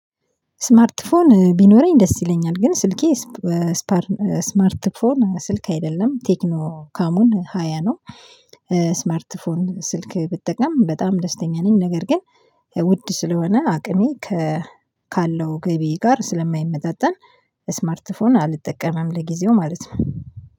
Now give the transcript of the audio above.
ስማርት ፎን ቢኖረኝ ደስ ይለኛል ግን ስልኬ ስፓር ስማርት ፎን ስልክ አይደለም ቴክኖ ካሙን ሃያ ነው። ስማርት ፎን ስልክ ብጠቀም በጣም ደስተኛ ነኝ። ነገር ግን ውድ ስለሆነ አቅሜ ካለው ገቢ ጋር ስለማይመጣጠን። ስማርት ፎን አልጠቀምም ለጊዜው ማለት ነው